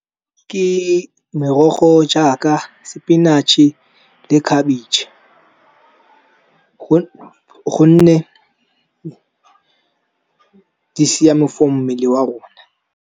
Ke merogo jaaka sepinathše le khabetšhe, gonne di siame for mmele wa rona.